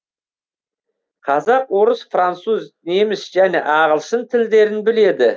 қазақ орыс француз неміс және ағылшын тілдерін біледі